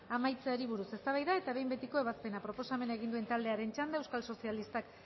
amaitzeari buruz eztabaida eta behin betiko ebazpena proposamena egin duen taldearen txanda euskal sozialistak